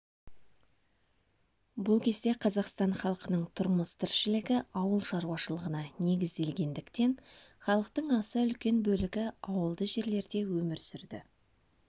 бұл кезде қазақстан халқының тұрмыс тіршілігі ауыл шаруашылығына негізделгендіктен халықтың аса үлкен бөлігі ауылды жерлерде өмір сүрді